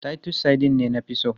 Titus sardines ne na fi so.